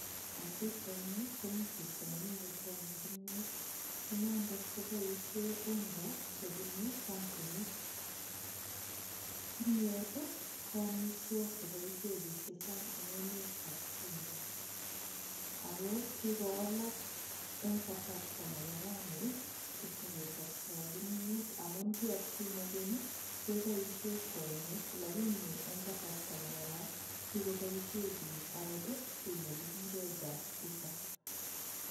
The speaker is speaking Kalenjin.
Eng' pikchaini komi chito nemi kokwonyei kimiyet inendet koboishe unga chebunu kampunit kimyet ko omitwok cheboishe biik chechang' eng' emetab Kenya ako kikowalak eng' kasarta nebo raini tukche kechoptoi kimiyet amun ki atkinye keny keboishe kwenik lakini eng' kasarta nebo ra kokiboishe biik kii akot nekikure gas cooker